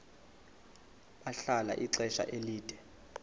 bahlala ixesha elide